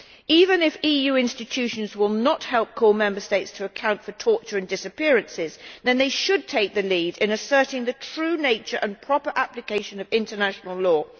Even if EU institutions will not help call Member States to account for torture and disappearances, they should take the lead in asserting the true nature and proper application of international law.